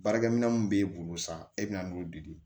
Baarakɛminɛn mun b'e bolo sa e bɛna n'o di